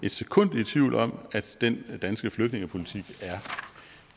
et sekund i tvivl om at den danske flygtningepolitik